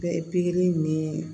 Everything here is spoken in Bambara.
Bɛɛ pikiri ni